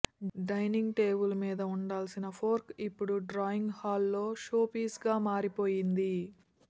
dining టేబుల్మీద ఉండాల్సిన fork ఇపుడే డ్రాయింగ్ హాల్లో షోపీస్గా మారిపోయింది